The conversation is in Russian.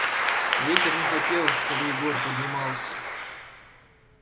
ветер не хотел чтобы егор поднимался